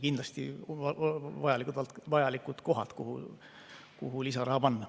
Kindlasti on need vajalikud kohad, kuhu lisaraha panna.